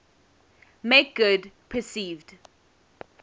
make good perceived